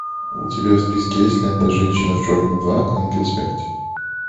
у тебя в списке есть лента женщина в черном два ангел смерти